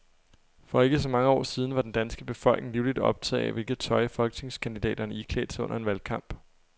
For ikke så mange år siden var den danske befolkning livligt optaget af, hvilket tøj folketingskandidaterne iklædte sig under en valgkamp.